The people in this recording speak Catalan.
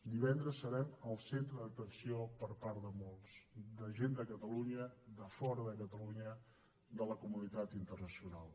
divendres serem el centre d’atenció per part de molts de gent de catalunya de fora de catalunya de la comunitat internacional